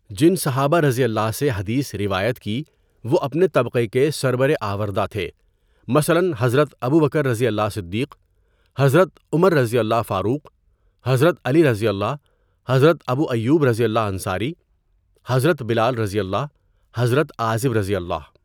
جن صحابہؓ سے حدیث روایت کی وہ اپنے طبقہ کے سربر آوردہ تھے مثلاً حضرت ابو بکرؓ صدیق، حضرت عمرؓ فاروق ، حضرت علیؓ، حضرت ابو ایوبؓ انصاری، حضرت بلالؓ، حضرت عازبؓ.